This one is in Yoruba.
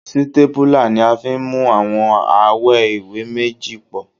Sítépúlà ni a fi ń mú àwọn awẹ́ ìwé méjì pọ̀